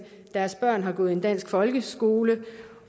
deres børn har gået i en dansk folkeskole